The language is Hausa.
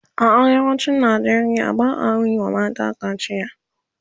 a arewacin Nigeria ba'a Yi wa mata kaciya